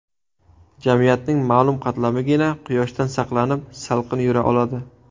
Jamiyatning ma’lum qatlamigina quyoshdan saqlanib, salqin yura oladi.